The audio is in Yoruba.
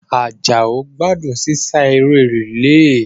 Àjàó gbádùn sísá eré rìílè